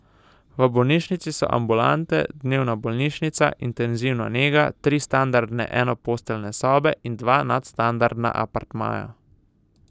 V bolnišnici so ambulante, dnevna bolnišnica, intenzivna nega, tri standardne enoposteljne sobe in dva nadstandardna apartmaja.